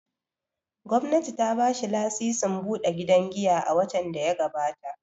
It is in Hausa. Gwamnati ta ba shi lasisin buɗe gidan giya a watan da ya gabata.